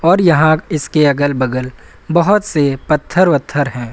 और यहां इसके अगल बगल बहोत से पत्थर ओत्थर है।